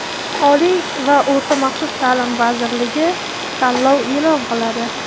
Oliy va o‘rta maxsus taʼlim vazirligi tanlov eʼlon qiladi!.